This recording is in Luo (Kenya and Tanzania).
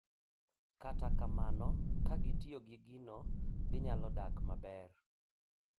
Kata kamano, ka gitiyo gi gino, ginyalo dak maber